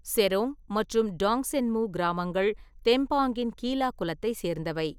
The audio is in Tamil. செரோங் மற்றும் டாங்சென்மு கிராமங்கள் தெம்பாங்கின் கீலா குலத்தைச் சேர்ந்தவை.